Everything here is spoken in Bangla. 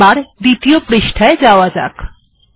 এবার দ্বিতীয় পৃষ্ঠায় যাওয়া যাক